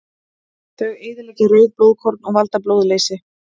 Þau eyðileggja rauð blóðkorn og valda blóðleysi.